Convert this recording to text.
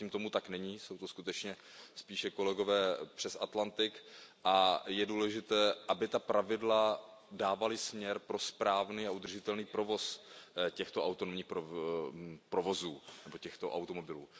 Zatím tomu tak není, jsou to skutečně spíše kolegové přes Atlantik a je důležité, aby ta pravidla dávala směr pro správný a udržitelný provoz těchto autonomních provozů nebo těchto automobilů.